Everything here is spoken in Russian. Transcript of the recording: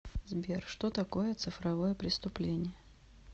сбер что такое цифровое преступление